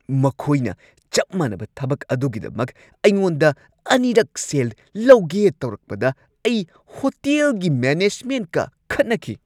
ꯃꯈꯣꯏꯅ ꯆꯞ ꯃꯥꯟꯅꯕ ꯊꯕꯛ ꯑꯗꯨꯒꯤꯗꯃꯛ ꯑꯩꯉꯣꯟꯗ ꯑꯅꯤꯔꯛ ꯁꯦꯜ ꯂꯧꯒꯦ ꯇꯧꯔꯛꯄꯗ ꯑꯩ ꯍꯣꯇꯦꯜꯒꯤ ꯃꯦꯅꯦꯖꯃꯦꯟꯠꯀ ꯈꯠꯅꯈꯤ꯫